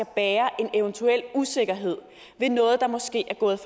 bære en eventuel usikkerhed ved noget der måske er gået